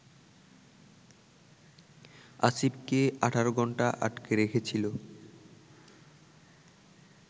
আসিফকে ১৮ ঘণ্টা আটকে রেখেছিল